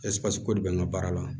Ɛseke ko de bɛ n ka baara la